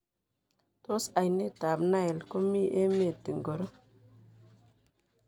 Tos aineet ab Nile komii emet ingoro